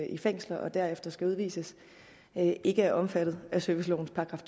i fængsler og derefter skal udvises ikke er omfattet af servicelovens §